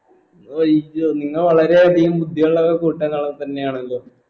അയ്യൊ നിങ്ങൾ വളരെ അധികം ബുദ്ധിയുള്ള കൂട്ടങ്ങൾ തന്നെ ആണല്ലോ